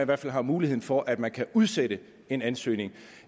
hvert fald har muligheden for at man kan udsætte en ansøgning og